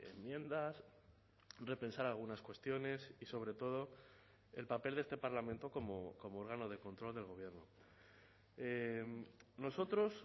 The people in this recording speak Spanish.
enmiendas repensar algunas cuestiones y sobre todo el papel de este parlamento como órgano de control del gobierno nosotros